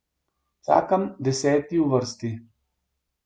Čakam deseti v vrsti.